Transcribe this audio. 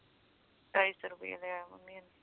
ਢਾਈ ਸੋ ਰਪੇ ਲਿਆ ਮੰਮੀ ਤੋਂ